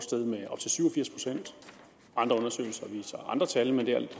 firs procent andre undersøgelser viser andre tal men det er alt